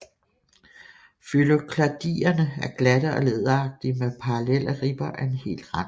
Fyllokladierne er glatte og læderagtige med parallelle ribber og hel rand